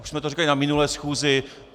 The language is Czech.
Už jsme to říkali na minulé schůzi.